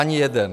Ani jeden.